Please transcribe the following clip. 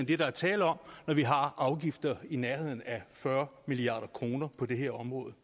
det der er tale om når vi har afgifter i nærheden af fyrre milliard kroner på det her område